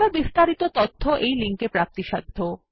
আরো বিস্তারিত তথ্য এই লিঙ্ক এ প্রাপ্তিসাধ্য